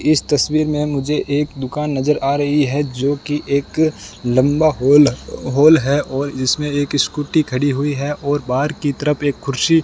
इस तस्वीर में मुझे एक दुकान नजर आ रही है जोकि एक लंबा हॉल है और इसमें एक स्कूटी खड़ी हुई है और बाहर की तरफ एक कुर्सी --